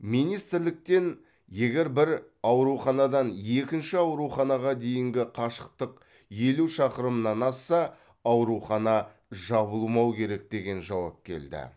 министрліктен егер бір ауруханадан екінші ауруханаға дейінгі қашықтық елу шақырымнан асса аурухана жабылмау керек деген жауап келді